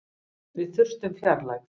Við þurftum fjarlægð.